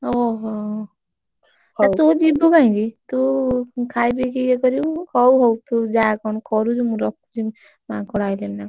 ଓହୋ ତୁ ଯିବୁ କାଇଁକି? ତୁ ଖାଇପିକି ଇଏ କରିବୁ ହଉ, ହଉ, ତୁ ଯା, କଣ କରୁଛୁ ମୁଁ ରଖୁଛି। ମାଙ୍କଡ ଆଇଲେଣି ନା କଣ।